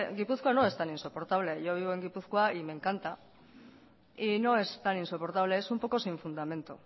gipuzkoa no es tan insoportable yo vivo en gipuzkoa y me encanta y no es tan insoportable es un poco sin fundamento o